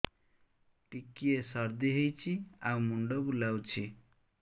ଟିକିଏ ସର୍ଦ୍ଦି ହେଇଚି ଆଉ ମୁଣ୍ଡ ବୁଲାଉଛି